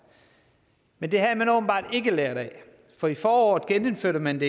men det havde man åbenbart ikke lært af for i foråret genindførte man